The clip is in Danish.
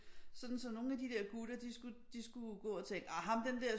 Sådan så nogle af de der gutter de skulle de skulle gå og tænke ah ham den der